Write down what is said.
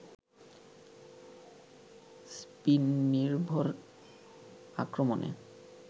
spin নির্ভর আক্রমণে